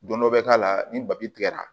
Don dɔ bɛ k'a la ni babi tigɛra